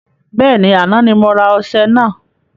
Bẹ́ẹ̀ni, àná ni mo rà ọṣẹ naa